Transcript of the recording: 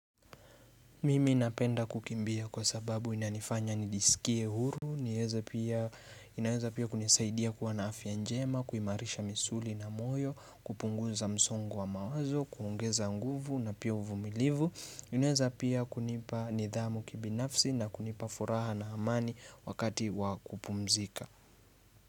Mimi napenda kukimbia kwa sababu inanifanya nijisikie huru. Inaeza pia kunisaidia kuwa na afya njema, kuimarisha misuli na moyo, kupunguza msongo wa mawazo, kuongeza nguvu na pia uvumilivu. Inaeza pia kunipa nidhamu kibinafsi na kunipa furaha na amani wakati wakupumzika.